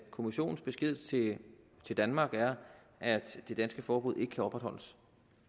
kommissionens besked til til danmark er at det danske forbud ikke kan opretholdes